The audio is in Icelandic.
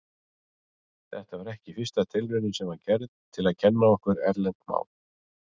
Þetta var ekki fyrsta tilraunin sem gerð var til að kenna okkur erlent mál.